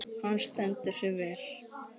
Hann stendur sig vel.